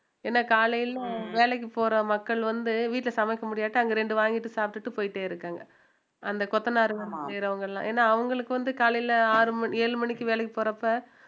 ஏன்னா காலையிலும் வேலைக்கு போற மக்கள் வந்து வீட்டுல சமைக்க முடியாட்டா அங்க ரெண்டு வாங்கிட்டு சாப்பிட்டுட்டு போயிட்டே இருக்காங்க அந்த கொத்தனாருங்க செய்யறவங்க எல்லாம் ஏன்னா அவங்களுக்கு வந்து காலையில ஆறு ஏழு மணிக்கு வேலைக்கு போறப்ப